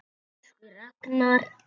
Elsku Ragnar.